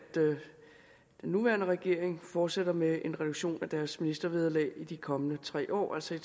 den nuværende regering fortsætter med en reduktion i deres ministervederlag i de kommende tre år altså i